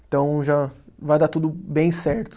Então, já vai dar tudo bem certo.